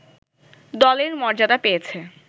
দলের মর্যাদা পেয়েছে